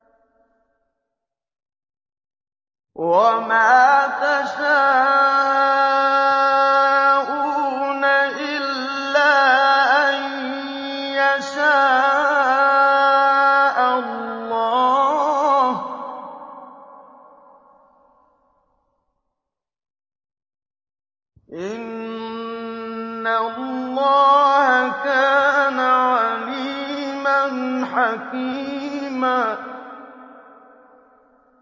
وَمَا تَشَاءُونَ إِلَّا أَن يَشَاءَ اللَّهُ ۚ إِنَّ اللَّهَ كَانَ عَلِيمًا حَكِيمًا